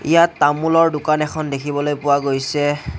ইয়াত তামোলৰ দোকান এখন দেখিবলৈ পোৱা গৈছে।